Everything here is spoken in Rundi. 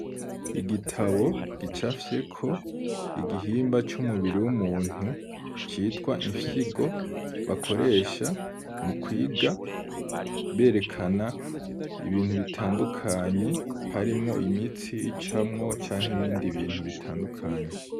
Igitabo, gicafyeko igihimba c'umubiri w'umuntu, citwa imfyigo, bakoresha mu kwiga, berekana ibintu bitandukanye, harimwo imitsi icamwo, canke ibindi bintu, bitandukanye.